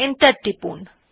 enter টিপুন